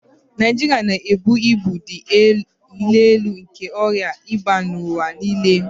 Naịjirịa na-ebu ibu dị elu nke ọrịa ịba n'ụwa niile